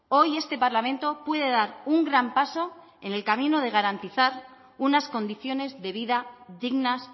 hoy este parlamento puede dar un gran paso en el camino de garantizar unas condiciones de vida dignas